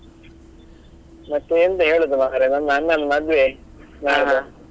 ಮತ್ತೆ ಎಂತ ಹೇಳುದು ಮಾರ್ರೆ ನನ್ನ ಅಣ್ಣನ್ ಮದ್ವೆ ನಾಡ್ದು.